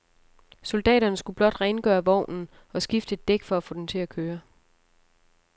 Soldaterne skulle blot rengøre vognen og skifte et dæk for at få den til at køre.